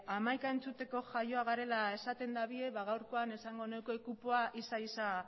hamaika entzuteko jaioak garela esaten dute ba gaurkoan esango nuke kupoa ixa ixa